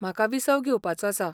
म्हाका विसप घेवपाचो आसा.